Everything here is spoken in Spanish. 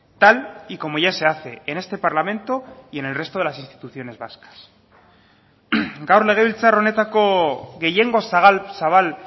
tal y como ya se hace en este parlamento y en el resto de las instituciones vascas gaur legebiltzar honetako gehiengo zabal zabal